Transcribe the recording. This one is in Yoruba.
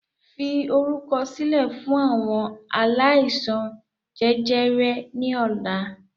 Fi orúkọ sílẹ̀ fún àwọn aláìsàn jẹjẹrẹ ni ọ̀la!